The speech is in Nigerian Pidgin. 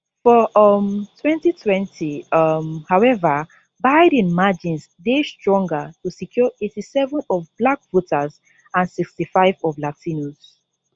for um 2020 um howeva biden margins dey stronger to secure 87 of black voters and 65 of latinos